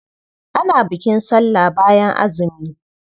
Ana bukin sallah bayan azumi.